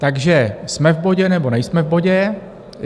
Takže jsme v bodě, nebo nejsme v bodě?